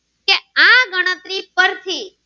પરથી.